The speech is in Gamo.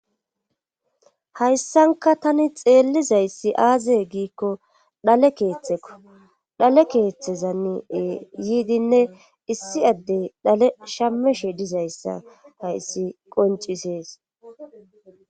hayssanka tani xeellizayssi aazee giikko dhale keeththekko dhale keeththezane yiidinne issi addey dhale shameshe dizayssa hayssi qoncisees